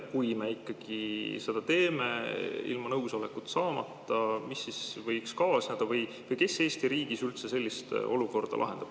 Kui me ikkagi seda teeme ilma nõusolekut saamata, siis mis võiks kaasneda või kes Eesti riigis üldse sellist olukorda lahendab?